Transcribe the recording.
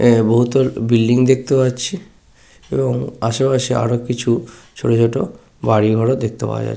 একটি বহুতল বিল্ডিং দেখতে পাচ্ছি । এবং আশেপাশে আরো কিছু ছোট ছোট গাড়ি ঘোরা দেখতে পাওয়া যাচ্ছে ।